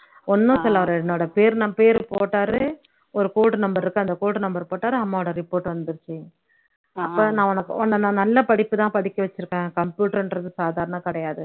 ஒண்ணும் சொல்ல வ என்னோட பேரு நான் பேரு போட்டலே ஒரு code number இருக்கு அந்த code number போட்டாரு அம்மாவோட report வந்துடுச்சுஅப்போ நான் உனக்கு உன்னை நான் நல்ல படிப்பு தான் படிக்க வச்சுருக்கேன் computer ன்றது சாதாரணம் கிடையாது